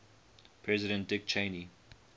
president dick cheney